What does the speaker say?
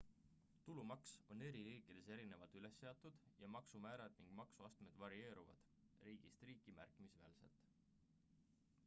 tulumaks on eri riikides erinevalt üles seatud ja maksumäärad ning maksuastmed varieeruvad riigist riiki märkimisväärselt